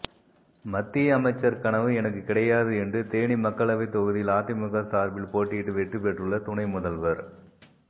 மத்திய அமைச்சர் கனவு எனக்கு கிடையாது என்று தேனி மக்களவைத் தொகுதியில் அதிமுக சார்பில் போட்டியிட்டு வெற்றி பெற்றுள்ள துணைமுதல்வர்